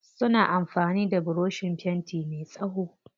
Suna amfani da burushin fenti me tsawo.